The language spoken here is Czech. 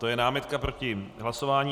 To je námitka proti hlasování.